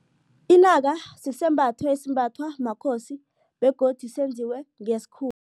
Inaka sisembatho esimbathwa makhosi begodu senziwe